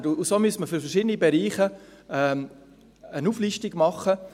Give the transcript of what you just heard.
Und so müsste man für verschiedene Bereiche eine Auflistung machen.